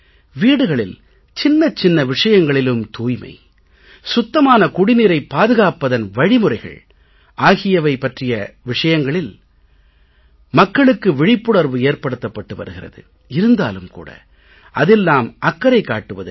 வீடுகளில் சின்னச் சின்ன விஷயங்களிலும் தூய்மை சுத்தமான குடிநீரைப் பாதுகாப்பதன் வழிமுறைகள் ஆகிய விஷயங்களில் மக்களுக்கு விழிப்புணர்வு ஏற்படுத்தப்பட்டு வருகிறது இருந்தாலும் கூட அதில் நாம் அக்கறை காட்டுவதில்லை